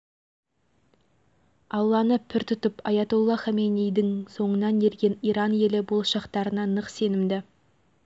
өз жеріндегі қазба байлықтарды ұқыптылықпен пайдалана білген олар бүгін әлемдегі ұлы адамдардың өзіне шекесінен қарайтындай